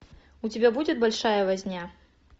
у тебя будет большая возня